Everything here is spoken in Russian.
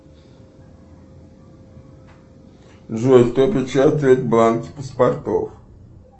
джой кто печатает бланки паспортов